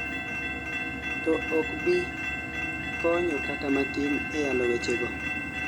to ok bi konyo kata matin e yalo weche go